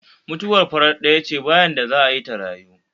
mutuwar farat ɗaya ce ba yarda za'a yi ta rayu